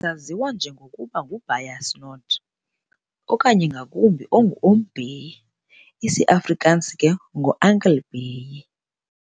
Wayesaziwa nje ngokuba nguBeyers Naudé, okanye ngakumbi, ngo-Oom Bey, isi-Afrikansi ngo "Uncle Bey".